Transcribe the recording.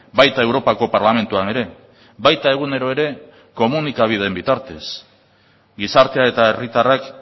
baita europako parlamentuan ere baita egunero ere komunikabideen bitartez gizartea eta herritarrak